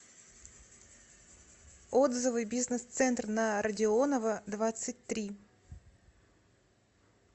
отзывы бизнес центр на родионова двадцать три